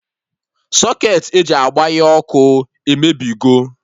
Socketị e ji agbanye ọkụ emebigo